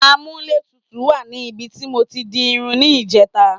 A múlẹ̀ tútù wà ní ibi tí mọ tí di irun ni ìjẹẹ̀ta.